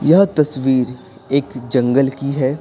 यह तस्वीर एक जंगल की है।